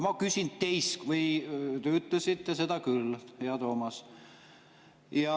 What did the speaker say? Te ütlesite seda küll, hea Toomas.